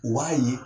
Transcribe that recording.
Wa ye